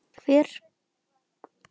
Hver þarf á þessu að halda og hver ekki?